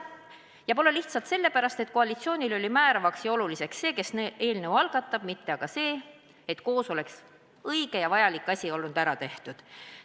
Ja pole lihtsalt sellepärast, et koalitsiooni silmis oli määrav see, kes eelnõu algatab, mitte see, et üheskoos oleks õige ja vajalik asi saanud ära tehtud.